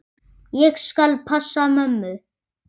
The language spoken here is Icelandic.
Ég skal passa mömmu.